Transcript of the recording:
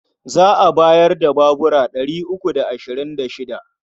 Za a bayar da babura ɗari uku da ashirin da shida.